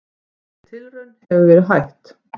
Þeirri tilraun hefur verið hætt.